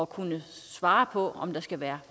kunne svare på om der skal være